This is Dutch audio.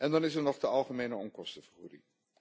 Dan is er nog de algemene onkostenvergoeding.